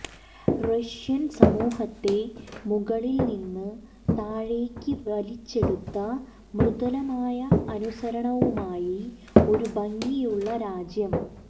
Russian സമൂഹത്തെ മുകളിൽ നിന്നും താഴേക്ക് വലിച്ചെടുത്ത മൃദുലമായ അനുസരണവുമായി ഒരു ഭംഗിയുള്ള രാജ്യം